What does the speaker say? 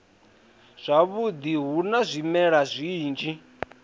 zwavhudi hu na zwimela zwinzhi